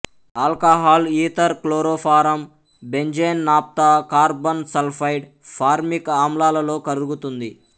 alcohol ether chloroform benzene naphtha carbon sulphide formic ఆమ్లాలలో కరుగుతుంది